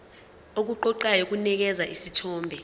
okuqoqayo kunikeza isithombe